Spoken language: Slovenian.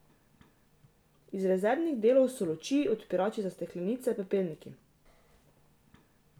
Iz rezervnih delov so luči, odpirači za steklenice, pepelniki.